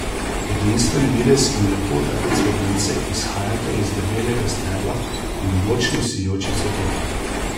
Edinstven videz in lepota te cvetlice izhajata iz debelega stebla in močnih sijočih cvetov.